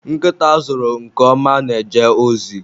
Nkịta a zụrụ nke ọma na-eje ozi